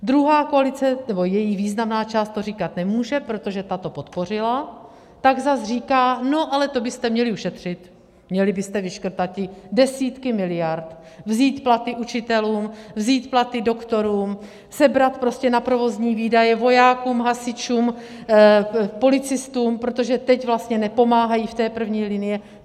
Druhá koalice, nebo její významná část, to říkat nemůže, protože ta to podpořila, pak zas říká: no, ale to byste měli ušetřit, měli byste vyškrtat ty desítky miliard, vzít platy učitelům, vzít platy doktorům, sebrat prostě na provozní výdaje vojákům, hasičům, policistům, protože teď vlastně nepomáhají v té první linii.